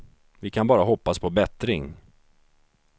Vi kan bara hoppas på bättring.